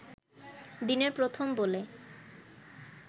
দিনের প্রথম বলে